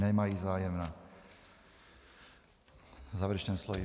Nemají zájem na závěrečném slově.